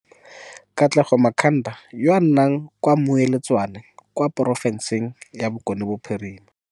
Katlego Makhanda yo a nnang kwa Moiletswane kwa porofenseng ya Bokone Bophirima.